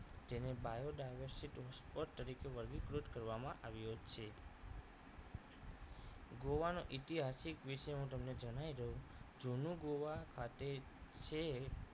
જેને bio dimecit spot તરીકે વર્ગીકૃત કરવામાં આવ્યો છે ગોવા નો ઇતિહાસ વિશે હું તમને જણાવી દઉં છું જૂનું ગોવા ખાતે છે